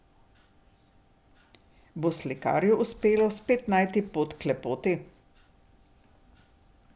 Bo slikarju uspelo spet najti pot k lepoti?